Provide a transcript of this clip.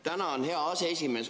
Tänan, hea aseesimees!